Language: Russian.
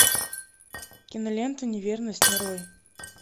кинолента неверность нарой